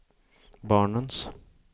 barnens